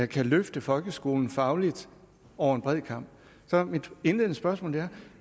kan løfte folkeskolen fagligt over en bred kam så mit indledende spørgsmål er